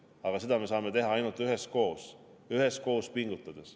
Aga seda me saame teha ainult üheskoos pingutades.